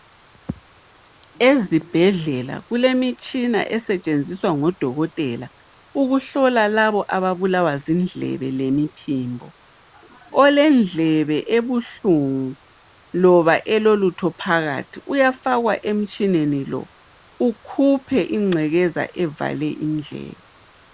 Ezibhedlela kulemitshina esetshenziswa ngodokotela ukuhlola labo ababulawa zindlebe lemiphimbo olendlebe ebuhlungu loba elolutho phakathi uyafakwa emutshineni lo ukhuphe ingcekeza evale indlebe